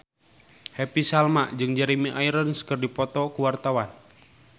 Happy Salma jeung Jeremy Irons keur dipoto ku wartawan